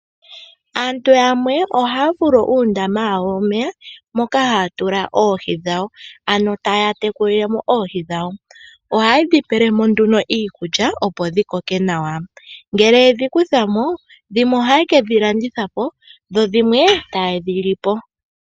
Aantu momikunda ohaya vulu okundula po uudhiya uushona moka haya vulu okutekulila oohi. Ohadhi pewa iikulya yoohi opo dhi koke, osho wo okwiindjipala momwaalu. Ohadhi gandja iimaliwa ngele dha landithwa nenge oshiyelelwa kaanegumbo.